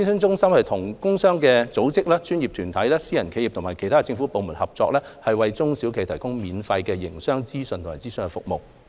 中心與工商組織、專業團體、私人企業和其他政府部門合作，為中小企業提供免費的營商資訊和諮詢服務。